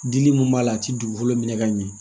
Dili min b'a la a tɛ dugukolo minɛ ka ɲɛ